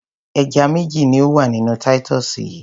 Ẹja méjì ní ó wà nínú Titus yìí.